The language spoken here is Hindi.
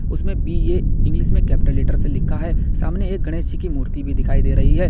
उसमें बी_ए इंग्लिश में कैपिटल लेटर से लिखा है सामने एक गणेश जी की मूर्ति भी दिखाई दे रही है।